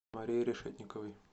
марии решетниковой